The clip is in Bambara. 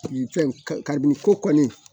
Fɛn kabini ko kɔni